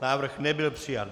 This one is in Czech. Návrh nebyl přijat.